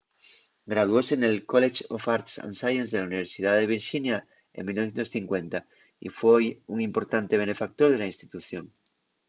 graduóse nel college of arts & sciences de la universidá de virxinia en 1950 y foi un importante benefactor de la institución